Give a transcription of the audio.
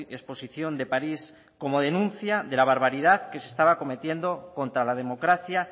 exposición de parís como denuncia de la barbaridad que se estaba cometiendo contra la democracia